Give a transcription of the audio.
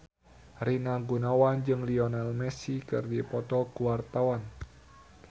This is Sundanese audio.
Rina Gunawan jeung Lionel Messi keur dipoto ku wartawan